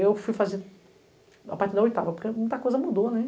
Eu fui fazer a partir da oitava, porque muita coisa mudou, né?